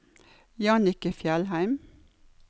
Jannicke Fjellheim